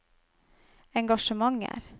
engasjementer